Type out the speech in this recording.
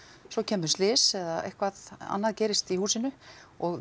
svo kemur slys eða eitthvað annað gerist í húsinu og